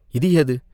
இது எது